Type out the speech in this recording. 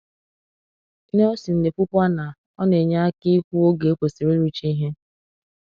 Nelsen na-ekwukwa na “ọ na-enye aka ikwu oge e kwesịrị ịrụcha ihe."